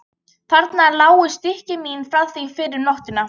Þarna lágu stykki mín frá því fyrr um nóttina.